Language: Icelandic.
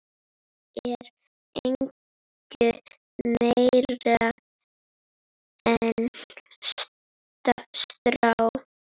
er engu meiri en strá.